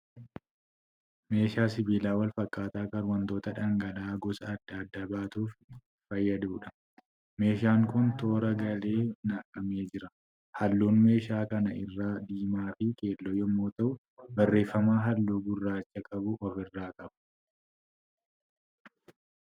Meeshaa sibiilaa wal fakkaataa kan wantoota dhangala'aa gosa adda addaa baatuuf fayyaduudha. Meeshaan kun toora galee naqamee jira. Halluun meeshaa kana irraa diimaa fi keelloo yammuu ta'u barreeffama halluu gurraacha qabu ofi irraa qaba.